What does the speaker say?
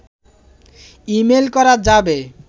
email করা যাবে